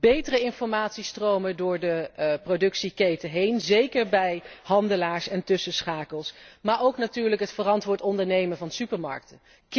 Betere informatiestromen door de productieketen heen, zeker bij handelaars en tussenschakels. Maar ook natuurlijk het verantwoord ondernemen van supermarkten.